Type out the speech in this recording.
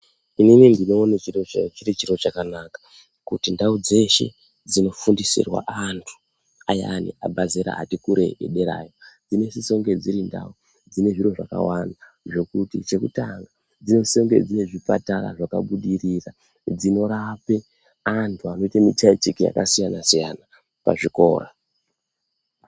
Inini ndinoone chiri chiro chakanaka kuti ndau dzeshe dzinofundisirwa antu, ayani abvazera ati kurei edera aya. Dzinosise kunge dzirindau dzine zviro zvakawanda zvokuti chekutanga dzinosise kunge dzine zvipatara zvakabudirira dzinorape antu anoite mitiyateki yakasiyana-siyana pazvikora.